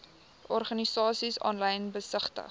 organisasies aanlyn besigtig